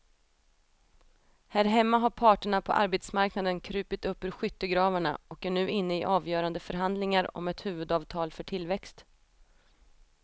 Här hemma har parterna på arbetsmarknaden krupit upp ur skyttegravarna och är nu inne i avgörande förhandlingar om ett huvudavtal för tillväxt.